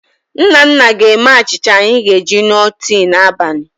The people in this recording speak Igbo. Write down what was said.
Nnanna ga-eme achịcha anyị ga-eji ṅụọ tii n'abalị.